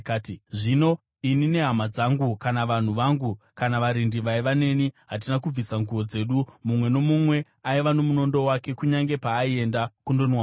Zvino ini nehama dzangu kana vanhu vangu kana varindi vaiva neni hatina kubvisa nguo dzedu; mumwe nomumwe aiva nomunondo wake, kunyange paaienda kundonwa mvura.